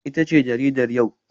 Ita ce jaridar yau?